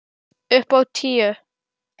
Upp á tíu.